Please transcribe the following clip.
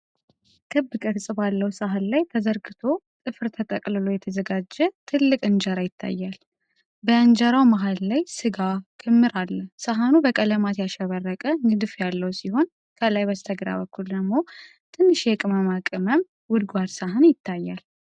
ክብ ቅርጽ ባለው ሳህን ላይ ተዘርግቶ ጥፍር ተጠቅልሎ የተዘጋጀ ትልቅ እንጀራ ይታያል። በእንጀራው መሃል ላይ ፣ ሥጋ ክምር አለ። ሳህኑ በቀለማት ያሸበረቀ ንድፍ ያለው ሲሆን ከላይ በስተግራ በኩል ደግሞ ትንሽ የቅመማ ቅመም ጎድጓዳ ሳህን ይታያል።